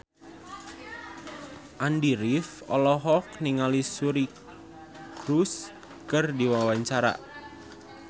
Andy rif olohok ningali Suri Cruise keur diwawancara